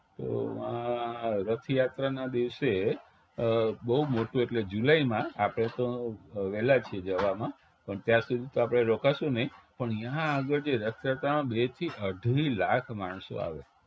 તો વા રથયાત્રાના દિવસે બવ મોટું એટલે જુલાઇ માં આપણે તો વેલા છીએ જવામાં પણ ત્યાં સુધી તો આપણે રોકાશું નહિ પણ ઈયા આગળ જે રથયાત્રામાં બે થી અઢી લાખ માણસો આવે